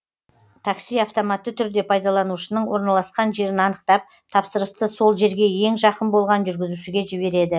такси автоматты түрде пайдаланушының орналасқан жерін анықтап тапсырысты сол жерге ең жақын болған жүргізушіге жібереді